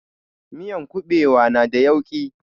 Miyan kuɓewa na da yauƙi